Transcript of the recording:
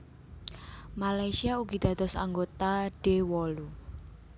Malaysia ugi dados anggota D wolu